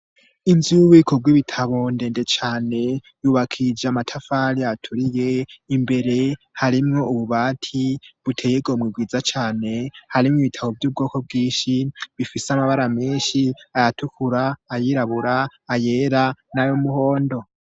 Inzu y'ububiko bw'ibitabo ndende cane yubakija amatafali aturiye imbere harimwo ububati buteye igomwe bwiza cane harimwo ibitabo vy'ubwoko bwinshi bifise amabara menshi ayatukura ayirabura ayera n'ayumuhondo.